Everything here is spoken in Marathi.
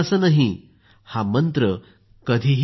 हा मंत्र कधीही विसरायचा नाही